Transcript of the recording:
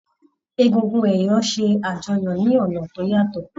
Egúngún ẹ̀yọ̀ ṣe àjọyọ̀ ní ọ̀nà tó yàtọ̀.